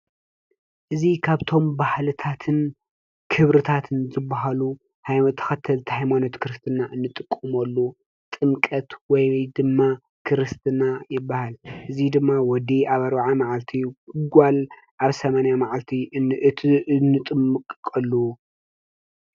እዚ ካብቶም ባህልታትን ክብሪታትን ዝባሃሉ ናይ ተኸተልቲ ሃይማኖት ክርስትና እንጥቀመሉ ጥምቀት ወይ ድማ ክርስትና ይባሃል። እዚ ድማ ወዲ ኣብ አርብዓ መዓልቲ ጓል ኣብ ስማንያ መዓልቲ እንጥመቐሉ።